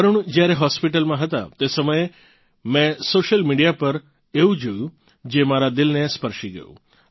વરુણ જ્યારે હોસ્પિટલમાં હતાં તે સમયે મેં સોશિયલ મિડીયા પર એવું જોયું જે મારા દિલને સ્પર્શી ગયું